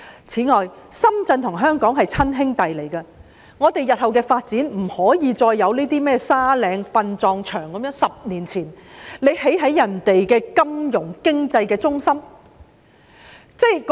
此外，深圳與香港是親兄弟，我們日後的發展不可以再出現像沙嶺殯葬場的情況，即10年前便在別人的金融經濟中心旁興建殯葬場。